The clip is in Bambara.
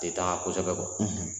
tɛ taa kosɛbɛ kɔ